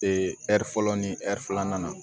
ɛri fɔlɔ ni filanan